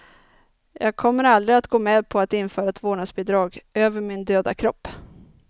Jag kommer aldrig att gå med på att införa ett vårdnadsbidrag, över min döda kropp.